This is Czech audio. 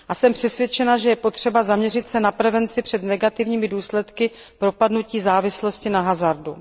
Jsem přesvědčena, že je potřeba zaměřit se na prevenci před negativními důsledky propadnutí závislosti na hazardu.